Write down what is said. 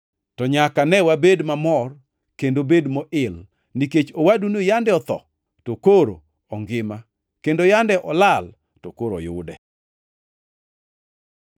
To nyaka ne wabed mamor kendo bed moil, nikech owaduni yande otho to koro ongima, kendo yande olal to koro oyude!’ ”